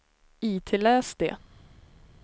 itläs det